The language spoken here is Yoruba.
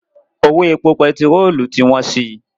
Owó epo pẹtirolu ti wọ́n si.